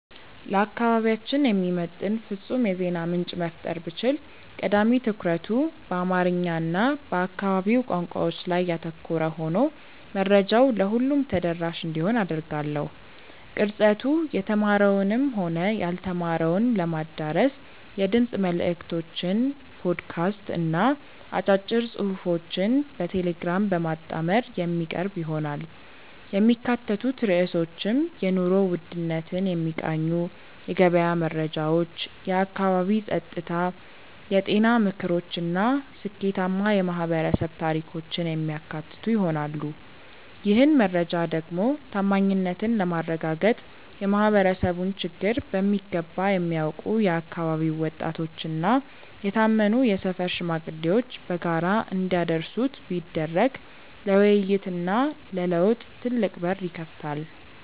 ለአካባቢያችን የሚመጥን ፍጹም የዜና ምንጭ መፍጠር ብችል፣ ቀዳሚ ትኩረቱ በአማርኛ እና በአካባቢው ቋንቋዎች ላይ ያተኮረ ሆኖ መረጃው ለሁሉም ተደራሽ እንዲሆን አደርጋለሁ። ቅርጸቱ የተማረውንም ሆነ ያልተማረውን ለማዳረስ የድምፅ መልዕክቶችን (ፖድካስት) እና አጫጭር ጽሑፎችን በቴሌግራም በማጣመር የሚቀርብ ይሆናል። የሚካተቱት ርዕሶችም የኑሮ ውድነትን የሚቃኙ የገበያ መረጃዎች፣ የአካባቢ ጸጥታ፣ የጤና ምክሮች እና ስኬታማ የማኅበረሰብ ታሪኮችን የሚያካትቱ ይሆናል። ይህን መረጃ ደግሞ ታማኝነትን ለማረጋገጥ የማኅበረሰቡን ችግር በሚገባ የሚያውቁ የአካባቢው ወጣቶችና የታመኑ የሰፈር ሽማግሌዎች በጋራ እንዲያደርሱት ቢደረግ ለውይይትና ለለውጥ ትልቅ በር ይከፍታል።